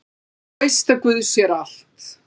Þú veist að guð sér allt!